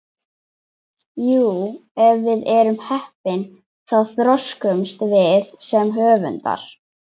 Jú, ef við erum heppin þá þroskumst við sem höfundar.